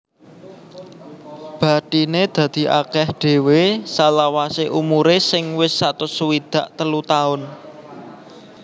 Bathiné dadi akèh dhéwé salawasé umuré sing wis satus swidak telu taun